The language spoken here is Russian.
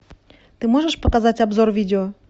ты можешь показать обзор видео